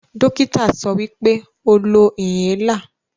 Dokita sowipe, "o lo inhaler"